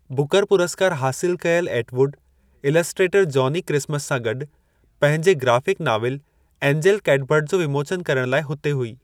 Booker पुरस्कार हासिल कयलु एटवुड, इलस्ट्रेटर जॉनी क्रिसमस सां गॾु पंहिंजे ग्राफ़िक नाविल एंजेल कैटबर्ड जो विमोचन करण लाइ हुते हुई।